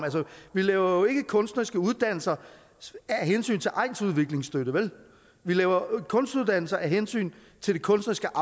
vi laver jo ikke kunstneriske uddannelser af hensyn til egnsudviklingsstøtte vi laver kunstuddannelser af hensyn til det kunstneriske